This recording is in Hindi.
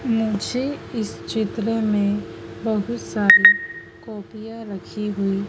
मुझे इस चित्र मे बहुत सारी कॉपियां रखी हुई--